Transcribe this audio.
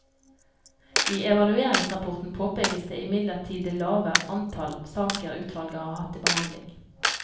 I evalueringsrapporten påpekes det imidlertid det lave antall saker utvalget har hatt til behandling.